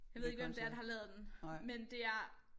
Jeg ved ikke hvem det er der har lavet den men det er